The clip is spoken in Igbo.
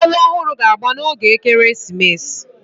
Mmọnwụ ọhụrụ ga-agba n'oge ekeresimesi